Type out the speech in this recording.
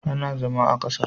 Ka zauna a kasa.